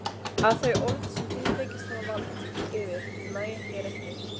Að þau orð sem þú þykist hafa vald yfir nægja þér ekki.